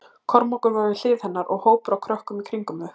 Kormákur var við hlið hennar og hópur af krökkum í kringum þau.